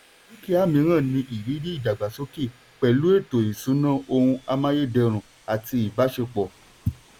dúkìá míràn ní ìrírí ìdàgbàsókè pẹ̀lú ètò ìṣúná ohun amáyèdẹrùn àti ìbáṣepọ̀.